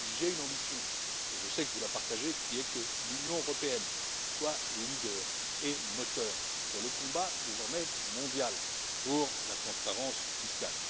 J'ai une ambition et je sais que vous la partagez que l'Union européenne soit leader et moteur dans le combat désormais mondial pour la transparence fiscale.